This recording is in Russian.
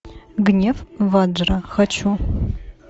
гнев ваджра хочу